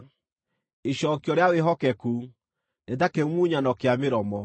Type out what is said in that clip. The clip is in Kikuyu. Icookio rĩa wĩhokeku nĩ ta kĩmumunyano kĩa mĩromo.